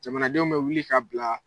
Jamanadenw bɛ wuli ka bila